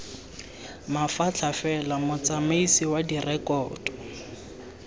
mafatlha fela motsamaisi wa direkoto